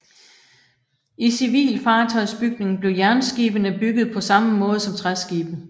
I civil fartøjsbygning blev jernskibene byggede på samme måde som træskibe